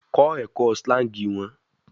Kọ ẹkọ slangs wọn